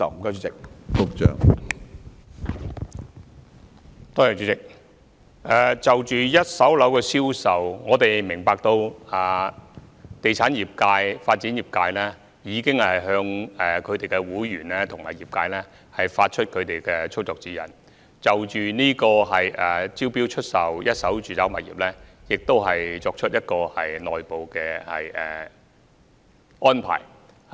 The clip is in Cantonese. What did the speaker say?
主席，就着一手住宅物業的銷售，我們明白地產業界、發展業界已向其會員及業界發出操作指引，並已就招標出售一手住宅物業作出內部安排。